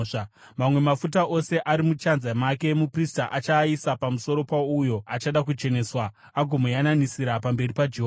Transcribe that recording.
Mamwe mafuta ose ari muchanza make muprista achaaisa pamusoro pouyo achada kucheneswa, agomuyananisira pamberi paJehovha.